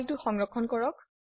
ফাইলটি সংৰক্ষণ কৰক